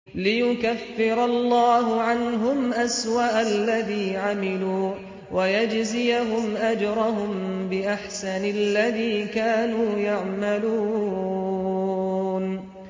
لِيُكَفِّرَ اللَّهُ عَنْهُمْ أَسْوَأَ الَّذِي عَمِلُوا وَيَجْزِيَهُمْ أَجْرَهُم بِأَحْسَنِ الَّذِي كَانُوا يَعْمَلُونَ